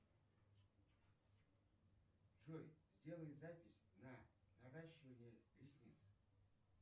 джой сделай запись на наращивание ресниц